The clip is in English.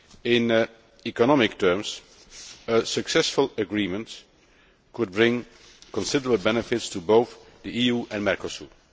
In economic terms, a successful agreement could bring considerable benefits to both the EU and Mercosur.